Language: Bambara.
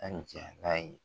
A nin cɛ k'a ye.